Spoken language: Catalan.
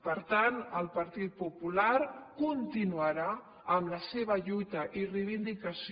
per tant el partit popular continuarà amb la seva lluita i reivindicació